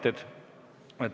Nüüd esitan teated.